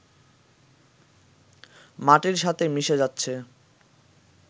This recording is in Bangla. মাটির সাথে মিশে যাচ্ছে